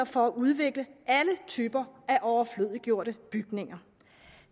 for at udvikle alle typer af overflødiggjorte bygninger